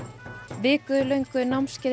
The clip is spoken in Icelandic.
viku löngu námskeiði